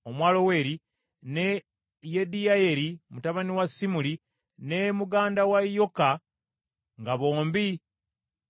ne Yediyayeri mutabani wa Simuli, ne muganda we Yoka, nga bombi Batiizi,